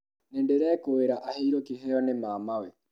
Nĩndĩrekũĩra aheirwo kĩheo nĩ mamawe